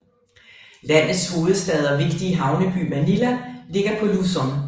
Landets hovedstad og vigtige havneby Manila ligger på Luzon